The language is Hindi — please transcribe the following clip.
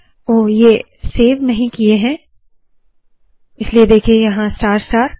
ओह ये सेव नहीं किए है इसलिए देखिए स्टार स्टार